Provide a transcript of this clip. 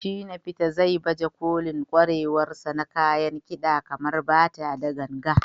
Shina Peters, zai baje kolin ƙwarewarsa na kayan kida kamar bata da ganga.